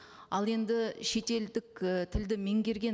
ал енді шетелдік і тілді меңгерген